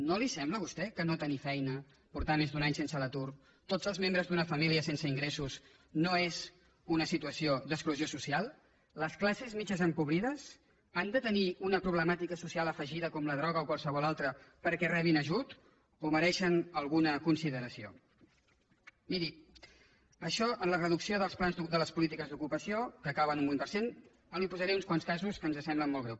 no li sembla a vostè que no tenir feina portar més d’un any a l’atur tots els membres d’una família sense ingressos no és una situació d’exclusió social les classes mitjanes empobrides han de tenir una problemàtica social afegida com la droga o qualsevol altra perquè rebin ajut o mereixen alguna consideració miri això en la reducció de les polítiques d’ ocupació que acaba en un vint per cent li posaré uns quants casos que ens semblen molt greus